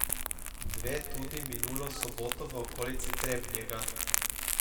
Dve tudi minulo soboto v okolici Trebnjega.